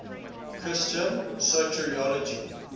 christian soteriology